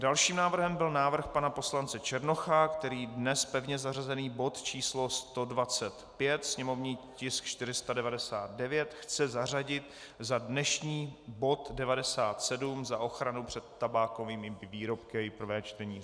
Dalším návrhem byl návrh pana poslance Černocha, který dnes pevně zařazený bod číslo 125, sněmovní tisk 499, chce zařadit za dnešní bod 97, za ochranu před tabákovými výrobky, její prvé čtení.